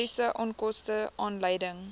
mediese onkoste aanleiding